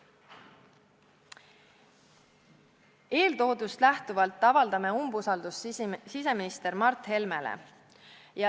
Eeltoodust lähtuvalt avaldame umbusaldust siseminister Mart Helmele.